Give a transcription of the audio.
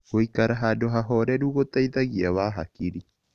Gũĩkara handũ hahorerũ gũteĩthagĩa wa hakĩrĩ